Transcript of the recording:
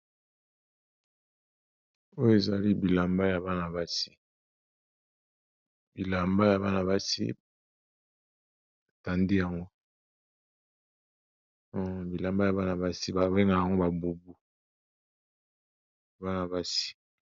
oyo ezali bilamba ya bana basi bilamba ya bana basi batandi yango bilamba ya bana basi babengaka yango babubu